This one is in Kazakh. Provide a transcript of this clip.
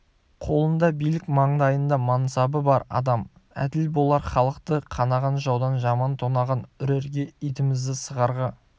қолында билік маңдайында мансабы бар адам әділ болар халықты қанаған жаудан жаман тонаған үрерге итімізді сығарға